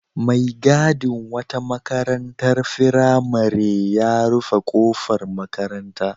Mai gadin wata makarantar firamare ya rufe ƙofar makaranta.